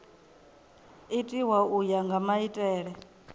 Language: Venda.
itiwa u ya nga maitele